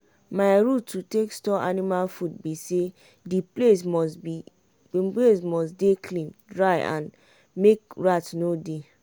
my rule to take store anima food bi say di place must dey clean dry and make rat no dey.